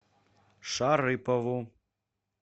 шарыпову